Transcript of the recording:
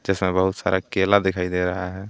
इसमें बहुत सारा केला दिखाई दे रहा है।